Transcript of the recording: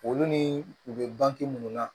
Olu ni u bɛ banke munnu na